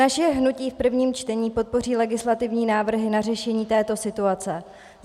Naše hnutí v prvním čtení podpoří legislativní návrhy na řešení této situace.